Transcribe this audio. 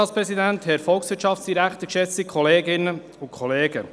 Wie es aussieht, geht es ordentlich weiter.